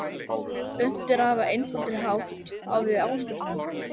Unnt er að hafa einfaldari hátt á við áskriftina.